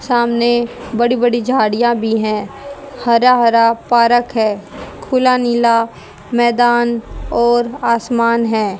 सामने बड़ी बड़ी झाड़ियां भी है हरा हरा पार्क है खुला नीला मैदान और आसमान है।